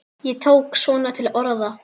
Ég tók svona til orða.